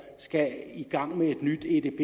skal i gang med et nyt edb